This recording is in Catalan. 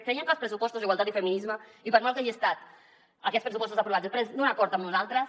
creiem que els pressupostos d’igualtat i feminismes i per molt que hagin estat aquests pressupostos aprovats després d’un acord amb nosaltres